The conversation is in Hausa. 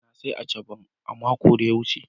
na siya " achaban" mako da ya wuce.